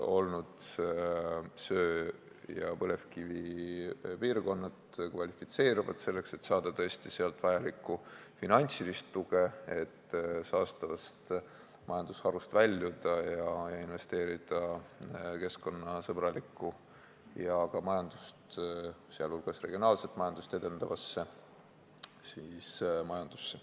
Söe- ja põlevkivipiirkonnad kvalifitseeruvad selleks, et saada sealt vajalikku finantsilist tuge, sellest et saastavast majandustegevusest väljuda ning investeerida keskkonnasõbralikku ja ka majandust, sh regionaalset majandust edendavasse tegevusse.